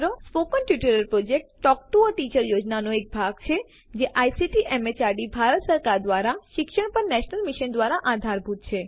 spoken tutorial project એ talk to a teacher યોજનાનો એક ભાગ છે જે આઇસીટી એમએચઆરડી ભારત સરકાર દ્વારા શિક્ષણ પર નેશનલ મિશન દ્વારા આધારભૂત છે